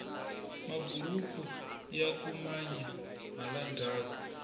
maburuku yaku manya hala ndhaku